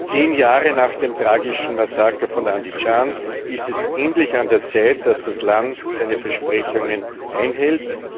Zehn Jahre nach dem tragischen Massaker von Andischan ist es endlich an der Zeit, dass das Land seine Versprechungen einhält.